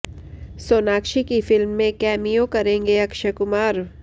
सोनाक्षी की फिल्म में कैमियो करेंगे अक्षय कुमार